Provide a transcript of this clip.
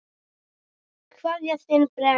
Kveðja, þinn Breki.